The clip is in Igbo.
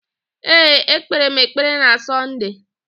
Ee, ekpere m ekpere na Sọnde.